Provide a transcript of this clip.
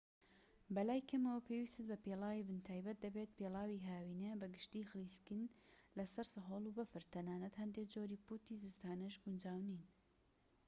بەلای کەمەوە پێویستت بە پێڵاوی بن تایبەت دەبێت پێڵاوی هاوینە بە گشتی خلیسکن لەسەر سەهۆڵ و بەفر تەنانەت هەندێك جۆری پوتی زستانەش گونجاو نین